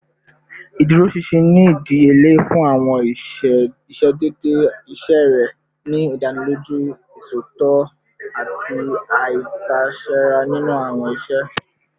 Iduroṣinṣin ni idiyele fun awọn iṣedede iṣe rẹ, ni idaniloju iṣotitọ ati aitasera ninu awọn iṣe